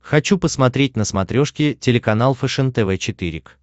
хочу посмотреть на смотрешке телеканал фэшен тв четыре к